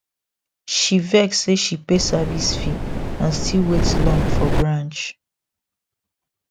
she vex say she pay service fee and still wait long for branch